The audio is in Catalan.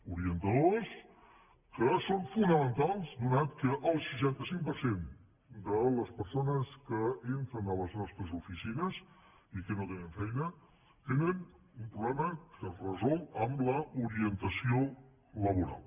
orientadors que són fonamentals atès que el seixanta cinc per cent de les persones que entren a les nostres oficines i que no tenen feina tenen un problema que es resol amb l’orientació laboral